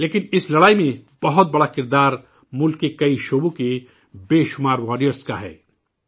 لیکن اس لڑائی میں بہت اہم کردار ملک کے کئی علاقوں کے متعدد واریئرز کی بھی ہے